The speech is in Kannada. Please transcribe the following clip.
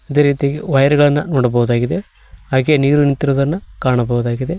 ಇದೆ ರೀತಿಯಾಗಿ ವೈರ್ ಗಳನ್ನ ನೋಡಬಹುದಾಗಿದೆ ಹಾಗೆ ನೀರು ನಿಂತಿರುವುದನ್ನ ಕಾಣಬಹುದಾಗಿದೆ.